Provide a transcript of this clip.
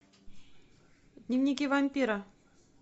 дневники вампира